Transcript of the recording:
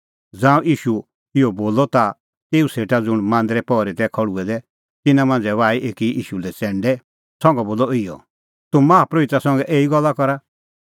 ज़ांऊं ईशू इहअ बोलअ ता तेऊ सेटा ज़ुंण मांदरे पहरी तै खल़्हुऐ दै तिन्नां मांझ़ै बाही एकी ईशू लै च़ैंडै संघा बोलअ इहअ तूह माहा परोहिता संघै एही गल्ला करा